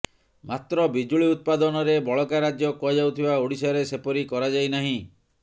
ମାତ୍ର ବିଜୁଳି ଉତ୍ପାଦନରେ ବଳକା ରାଜ୍ୟ କୁହାଯାଉଥିବା ଓଡ଼ିଶାରେ ସେପରି କରାଯାଇନାହିଁ